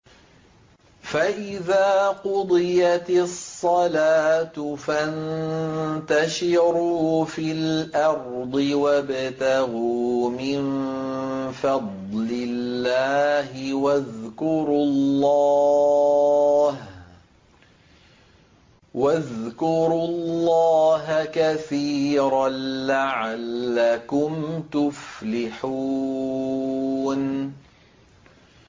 فَإِذَا قُضِيَتِ الصَّلَاةُ فَانتَشِرُوا فِي الْأَرْضِ وَابْتَغُوا مِن فَضْلِ اللَّهِ وَاذْكُرُوا اللَّهَ كَثِيرًا لَّعَلَّكُمْ تُفْلِحُونَ